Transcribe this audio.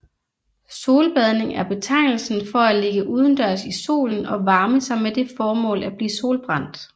Solbadning er betegnelsen for at ligge udendørs i solen og varme sig med det formål at blive solbrændt